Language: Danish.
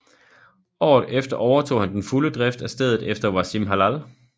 Året efter overtog han den fulde drift af stedet efter Wassim Hallal